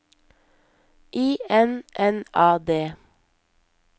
I N N A D